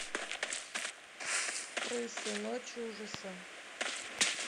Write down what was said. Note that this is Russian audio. крысы ночь ужаса